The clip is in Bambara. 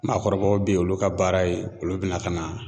Maakɔrɔbaw bɛ ye olu ka baara ye olu bɛ na ka na